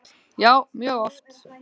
Já mjög oft.